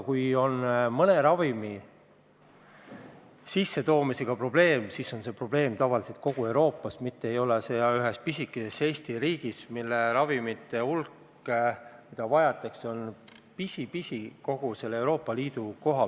Kui on mõne ravimi sissetoomisega probleem, siis on see probleem tavaliselt kogu Euroopas, mitte üksnes pisikeses Eesti riigis, kus vajatavate ravimite hulk on pisi-pisi võrreldes kogu Euroopa Liiduga.